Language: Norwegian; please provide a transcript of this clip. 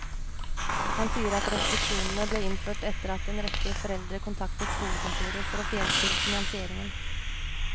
Han sier at restriksjonene ble innført etter at en rekke foreldre kontaktet skolekontoret for å få hjelp til finansieringen.